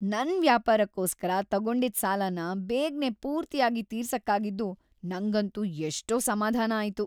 ನನ್ ವ್ಯಾಪಾರಕ್ಕೋಸ್ಕರ ತಗೊಂಡಿದ್ ಸಾಲನ ಬೇಗ್ನೇ ಪೂರ್ತಿಯಾಗ್ ತೀರ್ಸಕ್ಕಾಗಿದ್ದು ನಂಗಂತೂ ಎಷ್ಟೋ ಸಮಾಧಾನ ಆಯ್ತು.